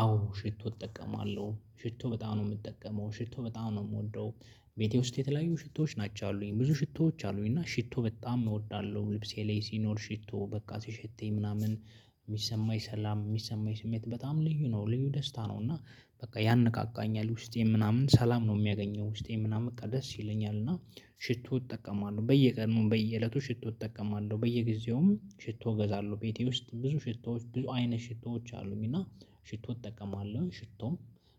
አዎ ሽቶ እጠቀማለሁ ሽቶ በጣም ነው የምጠቀመው ሽቶ በጣም ነው ምወደው ቤቴ ውስጥ የተለያዩ ሽቶዎች ናቸው ያሉኝ ብዙ ሽቶዎች አሉኝ እና ሽቶ በጣም እወዳለሁ። ልብሴ ላይ ሲኖር ሽቶ በቃ ሲሸተኝ ምናምን የሚሰማኝ ሰላም የሚሰማኝ ስሜት በጣም ልዩ ነው ልዩ ደስታ ነው። እና በቃ ያነቃቃኛል ውስጤም ምናምን ሰላም ነው የሚያገኘው ውስጤም ምናምን ደስ ይለኛል። እና ሽቶ እጠቀማለሁ በየቀኑ በየእለቱ ሽቶ እጠቀማለሁ በየጊዜውም ሽቶ እገዛለሁ። ቤቴ ውስጥ ብዙ ሽቶዎች ብዙ አይነ ሽቶዎች አሉኝ። እና ሽቶ እጠቀማለሁ ሽቶም